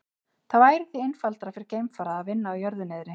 Það væri því einfaldara fyrir geimfara að vinna á jörðu niðri.